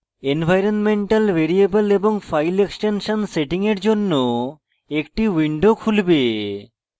environmental variable এবং file extension setting এর জন্য একটি window খুলবে